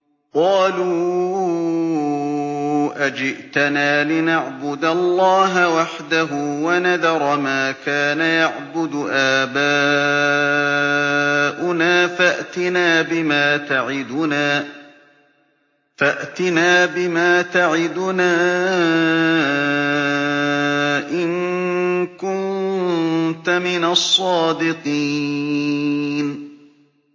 قَالُوا أَجِئْتَنَا لِنَعْبُدَ اللَّهَ وَحْدَهُ وَنَذَرَ مَا كَانَ يَعْبُدُ آبَاؤُنَا ۖ فَأْتِنَا بِمَا تَعِدُنَا إِن كُنتَ مِنَ الصَّادِقِينَ